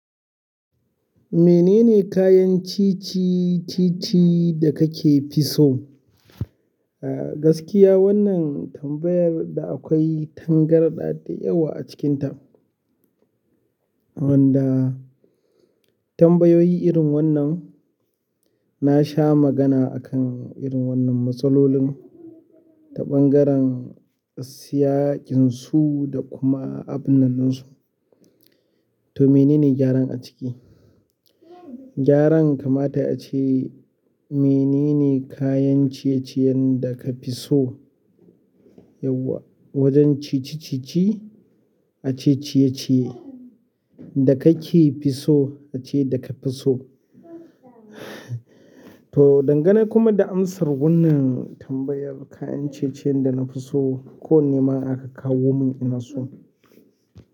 Menene kayan ci ci-ci-ci da kake fi so? Gaskiya wannan tambayar da akwai tangarɗa da yawa a cikinta. Wanda tambayoyi irin wannan na sha magana a kan irin wannan matsalolin da ɓangaren siyaƙinsu da kuma abunnan ɗinnan ɗinsu. To menene gyaran a ciki? Gyaran kamata yayi a ce menene kayan ciye-ciyen da ka fi so yauwa-- wajen ci ci-ci-ci a ce ciyeciye da kake fi so a ce da ka fi so. To, dangane kuma da amsar wannan tambayar kayan ciye-ciyen da na fi so ko wanne ma aka kawo mun ina so.